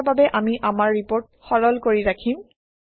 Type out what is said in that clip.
এতিয়াৰ বাবে আমি আমাৰ ৰিপৰ্ট সৰল কৰি ৰাখিম